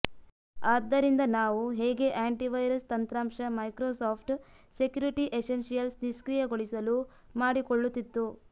ಆದ್ದರಿಂದ ನಾವು ಹೇಗೆ ಆಂಟಿವೈರಸ್ ತಂತ್ರಾಂಶ ಮೈಕ್ರೋಸಾಫ್ಟ್ ಸೆಕ್ಯುರಿಟಿ ಎಸೆನ್ಷಿಯಲ್ಸ್ ನಿಷ್ಕ್ರಿಯಗೊಳಿಸಲು ಮಾಡಿಕೊಳ್ಳುತ್ತಿತ್ತು